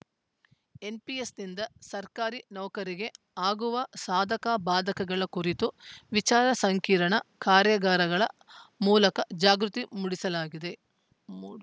ಎನ್‌ಪಿಎಸ್‌ನಿಂದ ಸರ್ಕಾರಿ ನೌಕರಿಗೆ ಆಗುವ ಸಾದಕಬಾಧಕಗಳ ಕುರಿತು ವಿಚಾರ ಸಂಕಿರಣ ಕಾರ್ಯಾಗಾರಗಳ ಮೂಲಕ ಜಾಗೃತಿ ಮೂಡಿಸಲಾಗಿದೆ